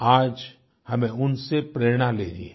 आज हमें उनसे प्रेरणा लेनी है